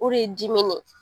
O re dimi ye.